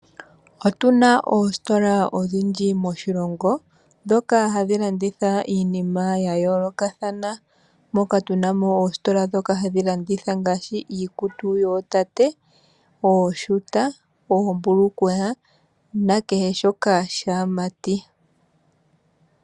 Otuna oositola odhindji moshilongo ndhoka hadhi landitha iinima ya yoolokathana, moka tuna mo oositola ndhoka hadhi landitha ngaashi iikutu yoo tate: ooshuta, oombulukweya na kehe shoka shaamati.